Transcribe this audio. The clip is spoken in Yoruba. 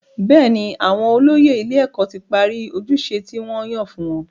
Bẹ́ẹ̀ni, àwọn olóyè ilé-ẹ̀kọ́ ti parí ojúṣe tí wọ́n yàn fún wọn.